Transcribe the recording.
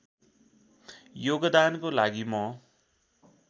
योगदानको लागि म